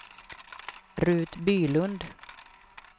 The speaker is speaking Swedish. Rut Bylund